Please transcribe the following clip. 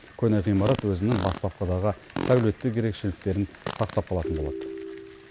көне ғимарат өзінің бастапқыдағы сәулеттік ерекшеліктерін сақтап қалатын болады